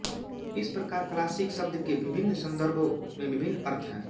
इस प्रकार क्लासिक शब्द के विभिन्न संदर्भो में विभिन्न अर्थ हैं